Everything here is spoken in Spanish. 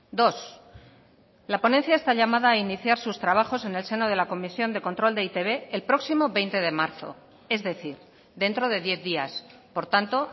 dos la ponencia está llamada a iniciar sus trabajos en el seno de la comisión de control de e i te be el próximo veinte de marzo es decir dentro de diez días por tanto